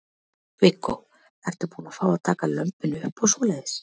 Viggó: Ertu búin að fá að taka lömbin upp og svoleiðis?